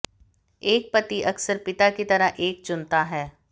एक पति अक्सर पिता की तरह एक चुनता है